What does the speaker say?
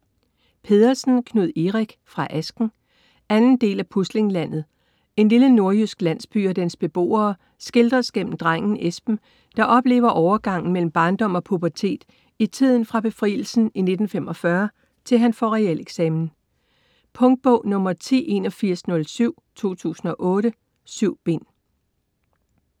Pedersen, Knud Erik: Fra asken 2. del af Puslinglandet. En lille nordjysk landsby og dens beboere skildres gennem drengen Esben, der oplever overgangen mellem barndom og pubertet i tiden fra befrielsen i 1945 til han får realeksamen. Punktbog 108107 2008. 7 bind.